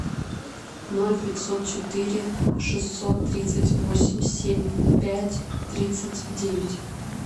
ноль пятьсот четыре шестьсот тридцать восемь семь пять тридцать девять